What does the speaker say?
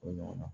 O ɲɔgɔnna